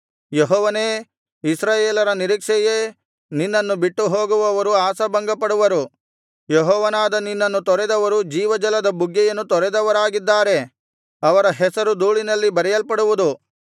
ಯೆಹೋವನೇ ಇಸ್ರಾಯೇಲರ ನಿರೀಕ್ಷೆಯೇ ನಿನ್ನನ್ನು ಬಿಟ್ಟುಹೋಗುವವರು ಆಶಾಭಂಗಪಡುವರು ಯೆಹೋವನಾದ ನಿನ್ನನ್ನು ತೊರೆದವರು ಜೀವಜಲದ ಬುಗ್ಗೆಯನ್ನು ತೊರೆದವರಾಗಿದ್ದಾರೆ ಅವರ ಹೆಸರು ಧೂಳಿನಲ್ಲಿ ಬರೆಯಲ್ಪಡುವುದು